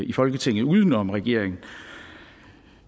i folketinget uden om regeringen